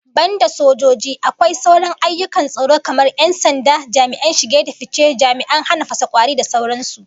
Banda sojoji, akwai sauran ayyukan tsaro kamar 'yan sanda, jami'an shige da fice, jami'an hana fasa kwauri da sauran su